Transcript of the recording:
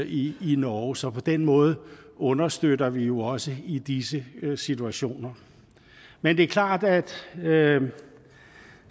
i norge så på den måde understøtter vi jo også i disse situationer men det er klart at